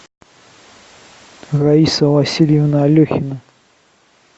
раиса васильевна алехина